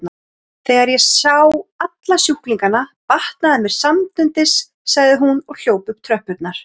Þegar ég sá alla sjúklingana batnaði mér samstundis sagði hún og hljóp upp tröppurnar.